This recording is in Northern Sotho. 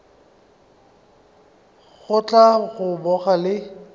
go tla go boga le